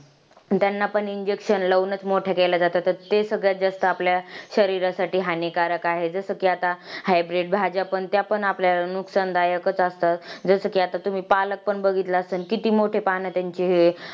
त्यांना पण injection लावूनच मोठा केला जाता तर ते सगळ्यात जास्त आपल्या शरीरासाठी हनिकारक आहे जस कि आत hybrid भाज्या त्या पण आपल्याला नुकसानदायकच असतात जसा कि आता तुम्ही पालक पण बघितला असन किती मोठे पण त्यांचे हे